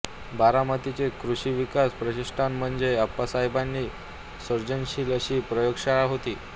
बारामतीचे कृषीविकास प्रतिष्ठान म्हणजे अप्पासाहेबांची सृजनशील अशी प्रयोगशाळाच होती